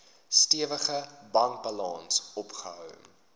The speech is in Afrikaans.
stewige bankbalans opgebou